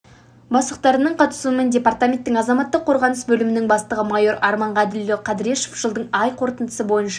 бастықтарының қатысуымен департаменттің азаматтық қорғаныс бөлімінің бастығы майор арман ғаділұлы кадрешов жылдың ай қорытындысы бойынша